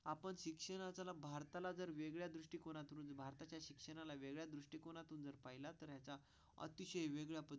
आपण शिक्षणाचा लाभ भारताला जर वेगळ्या दृष्टीकोनातून भारताच्या शिक्षणाला वेगळ्या दृष्टीकोनातून जर पाहिला तर त्याचा अतिशय वेगळा पण.